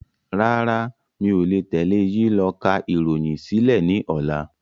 Rárá, mi ò le tẹ́lé yìí lọ ká ìròyìn sílẹ̀ ni ọ̀la.